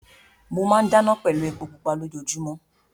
Mo máa ń dáná pẹ̀lú epo pupa lójoojúmọ́.